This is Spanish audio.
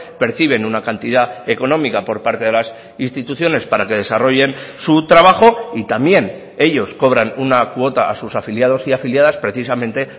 perciben una cantidad económica por parte de las instituciones para que desarrollen su trabajo y también ellos cobran una cuota a sus afiliados y afiliadas precisamente